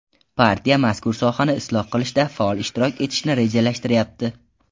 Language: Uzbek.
Partiya mazkur sohani isloh qilishda faol ishtirok etishni rejalashtiryapti.